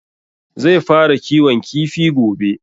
Zai fara kiwon kifi gobe